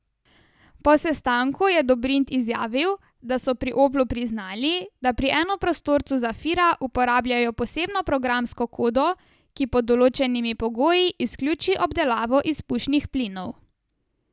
Po sestanku je Dobrindt izjavil, da so pri Oplu priznali, da pri enoprostorcu zafira uporabljajo posebno programsko kodo, ki pod določenimi pogoji izključi obdelavo izpušnih plinov.